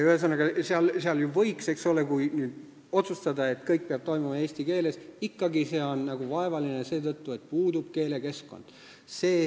Ühesõnaga, seal võiks ju otsustada, et kõik peab toimuma eesti keeles, aga see on ikkagi kuidagi vaevaline seetõttu, et puudub keelekeskkond.